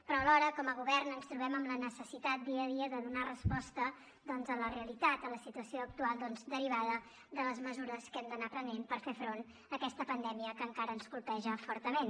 però alhora com a govern ens trobem amb la necessitat dia a dia de donar resposta a la realitat de la situació actual derivada de les mesures que hem d’anar prenent per fer front a aquesta pandèmia que encara ens colpeja fortament